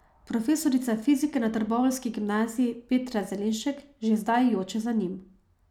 Profesorica fizike na trboveljski gimnaziji Petra Zelenšek že zdaj joče za njim.